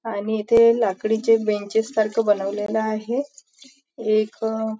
आणि इथे लाकडीचे बेंचेस सारखं बनवलेले आहे आणि इथे एक--